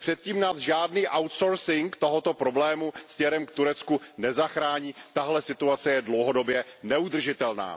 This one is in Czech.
Před tím nás žádný outsourcing tohoto problému směrem k Turecku nezachrání, tahle situace je dlouhodobě neudržitelná.